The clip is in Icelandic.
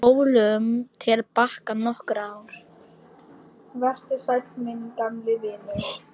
Spólum til baka nokkur ár.